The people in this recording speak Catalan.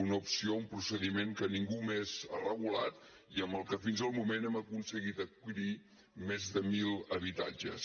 una opció un procediment que ningú més ha regulat i amb el que fins al moment hem aconseguit adquirir més de mil habitatges